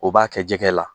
O b'a kɛ jɛgɛ la